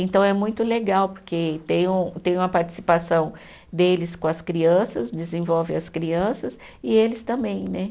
Então é muito legal, porque tem um, tem uma participação deles com as crianças, desenvolve as crianças e eles também, né?